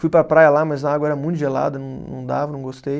Fui para a praia lá, mas a água era muito gelada, não não dava, não gostei.